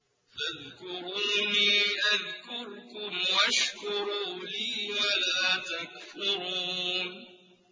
فَاذْكُرُونِي أَذْكُرْكُمْ وَاشْكُرُوا لِي وَلَا تَكْفُرُونِ